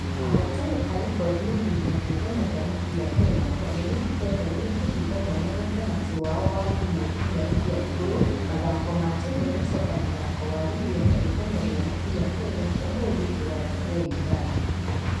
Ahotani arekodi ya rigi ya kĩũngano gĩa mũbira kenya gor nĩmehokĩte nĩmakũhinga mwanya gatagatĩ wao na timũ inya iria iĩgũrũ. Mathaka na timũ ya sofa mũthako wa rigi ya kĩũngano gĩa mũbira kenya ũmũthĩ kĩwanja gĩa wundanyi.